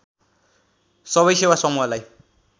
सवै सेवा समूहलाई